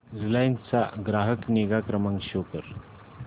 Reliance चा ग्राहक निगा क्रमांक शो कर